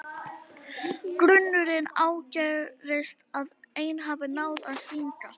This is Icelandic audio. Grunurinn ágerist að ein hafi náð að stinga.